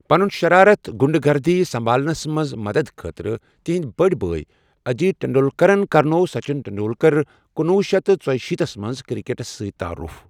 پنُن شرارت، غنٛڈٕ گردی سنٛبھالنس منٛز مددٕ خٲطرٕ، تِہٕنٛدۍ بٔڑۍ بٲے اجیت ٹنڈولکرن کرنوو سچن ٹنڈولکر کُنوُہ شیٚتھ تہٕ ژُشیٖتھس منٛز کرکٹس سۭتۍ تعارُف۔